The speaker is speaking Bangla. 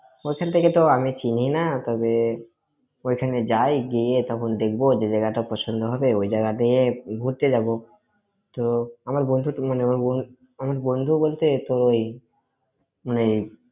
ওখান থেকে তো আমি চিনি না তবে, ওখানে যাই, গিয়ে তখন দেখব। যে জায়গাটা পছন্দ হবে ওই জায়গাতে ঘুরতে যাব। তো, আমার বন্ধুর মানে, আমার বন্ধু বলতে তুই মানে,